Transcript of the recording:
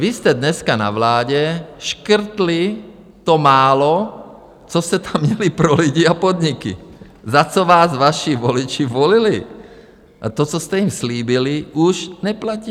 Vy jste dneska na vládě škrtli to málo, co jste tam měli pro lidi a podniky, za co vás vaši voliči volili, a to, co jste jim slíbili, už neplatí.